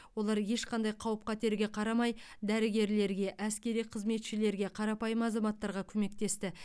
олар ешқандай қауіп қатерге қарамай дәрігерлерге әскери қызметшілерге қарапайым азаматтарға көмектесті